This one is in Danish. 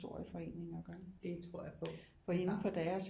Historieforening at gøre for indenfor deres